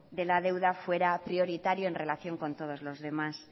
de la deuda fuera prioritario en relación con todos los demás